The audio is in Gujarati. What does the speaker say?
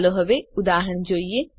ચાલો હવે ઉદાહરણ જોઈએ